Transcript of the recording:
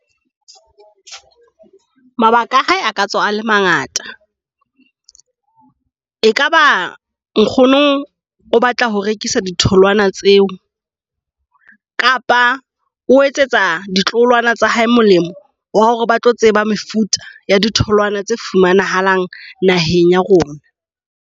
Mabaka a hae aka tswa a le mangata . E kaba nkgono o batla ho rekisa ditholwana tseo kapa o etsetsa ditloholwana tsa hae molemo wa hore ba tlo tseba mefuta ya ditholoana tsa fumanahalang naheng ya rona.